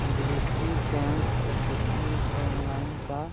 दृष्टि bank SSC. Online का --